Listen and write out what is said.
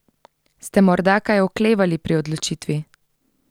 Ste morda kaj oklevali pri odločitvi?